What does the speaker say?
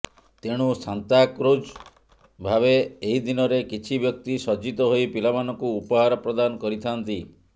ତେଣୁ ସାନ୍ତାକ୍ଲଜ ଭାବେ ଏହି ଦିନରେ କିଛି ବ୍ୟକ୍ତି ସଜ୍ଜିତ ହୋଇ ପିଲାମାନଙ୍କୁ ଉପହାର ପ୍ରଦାନ କରିଥାଆନ୍ତି